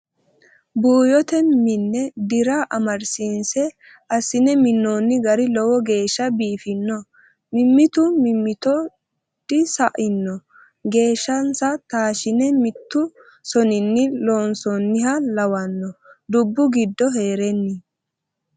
Buuyote mine dira amadisiise assine minoni gari lowo geeshsha biifino mimitu mimitto disa'ino geeshshasa taashine mitu soninni loonsoniha lawano dubbu giddo heereni.